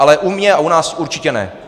Ale u mě a u nás určitě ne.